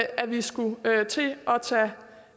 at vi skulle til